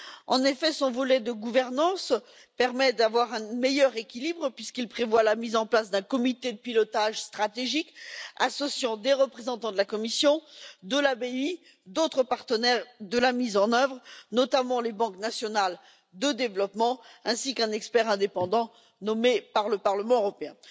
En effet, le volet consacré à la gouvernance permet d'assurer un meilleur équilibre, puisqu'il prévoit la mise en place d'un comité de pilotage stratégique associant des représentants de la Commission et de la BEI, et d'autres partenaires de mise en œuvre, notamment les banques nationales de développement, ainsi qu'un expert indépendant nommé par le Parlement européen.